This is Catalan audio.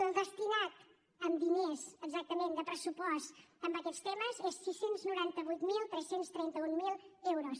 el destinat en diners exactament de pressupost a aquests temes és sis cents i noranta vuit mil tres cents i trenta un euros